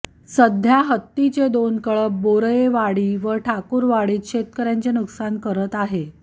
सध्या हत्तीचे दोन कळप बोरयेवाडी व ठाकुरवाडीत शेतकऱयांचे नुकसान करत आहे